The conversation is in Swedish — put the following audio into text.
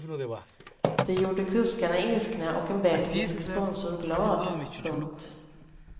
Det gjorde kuskarna ilskna och en belgisk sponsor glad. punkt